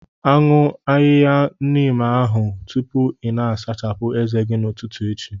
Aṅụ ahịhịa Neem ahụ tupu ị na-asachapụ ezé gị n'ụtụtụ echi!